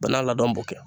Bɛɛ n'a ladon